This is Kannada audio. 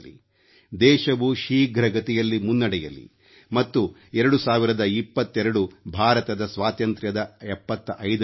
ದೇಶವು ಶೀಘ್ರಗತಿಯಲ್ಲಿ ಮುನ್ನಡೆಯಲಿ ಮತ್ತು 2022 ಭಾರತದ ಸ್ವಾತಂತ್ರ್ಯದ 75ನೇ ವರ್ಷ